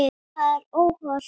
Það er óhollt.